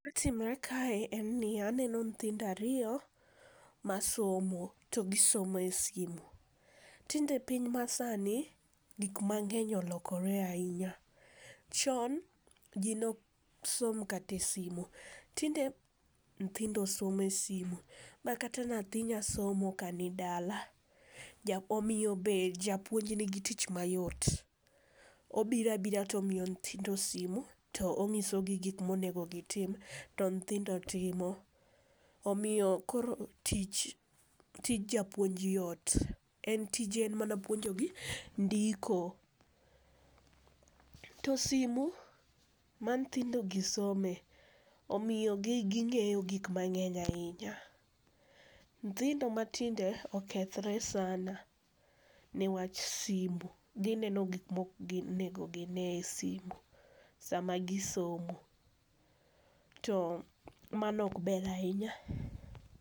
Gima timore kae en ni aneno nyithindo ariyo, masomo to gisomo e sime. Tinde piny masani gik mang'eny olokore ahinya, chon ji neok som kata e sime tinde nyithindo somo e simu makata nyathi nyalo somo kani dala omiyo japuonj nigi tich mayot. Obiro abira to omiyo nyithindo simu to oonyisogi gik monego gitim to nyithindo timo. Omiyo koro tich tij japuonj yot, en tije enmana puonjogi ndiko. To simu ma nyithindogi some omiyo ging'eyo gik mang'eny ahinya. Nyithindo matinde okethore sana niwach simu. Gineno gik maok onego gine esimu sama gisomo to mano ok ber ahinya.